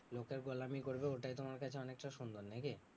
লোকের গোলামী করবে ওটাই তোমার কাছে অনেকটা সন্মান নাকি?